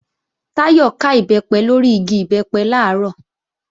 Táyọ̀ ká Ìbẹ́pẹ lórí igi Ìbẹ́pẹ làárọ̀